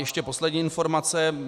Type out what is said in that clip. Ještě poslední informace.